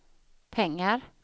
pengar